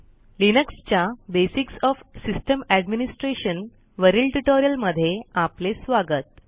Linux च्या basics of system administration वरील tutorial मध्ये आपले स्वागत